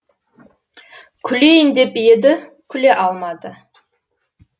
күлейін деп еді күле алмады